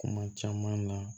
Kuma caman na